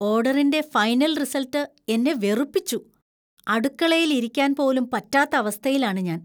ഓര്‍ഡറിന്‍റെ final‍ result എന്നെ വെറുപ്പിച്ചു. അടുക്കളയിലിരിക്കാൻ പോലും പറ്റാത്ത അവസ്ഥയിലാണ് ഞാൻ.